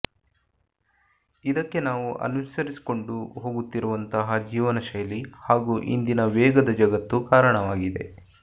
ಇದಕ್ಕೆ ನಾವು ಅನುಸರಿಸಿಕೊಂಡು ಹೋಗುತ್ತಿರುವಂತಹ ಜೀವನಶೈಲಿ ಹಾಗೂ ಇಂದಿನ ವೇಗದ ಜಗತ್ತು ಕಾರಣವಾಗಿದೆ